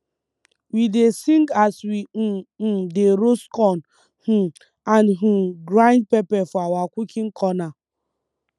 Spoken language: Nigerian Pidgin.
we dey sing as we um um dey roast corn um and um grind pepper for our cooking corner